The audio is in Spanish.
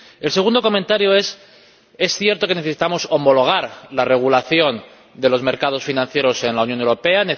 El segundo comentario es que es cierto que necesitamos homologar la regulación de los mercados financieros en la Unión Europea.